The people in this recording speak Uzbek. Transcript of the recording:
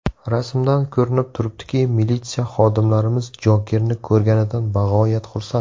Rasmdan ko‘rinib turibdiki, militsiya xodimlarimiz Jokerni ko‘rganidan bag‘oyat xursand.